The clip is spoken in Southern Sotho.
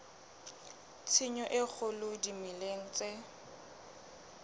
tshenyo e kgolo dimeleng tse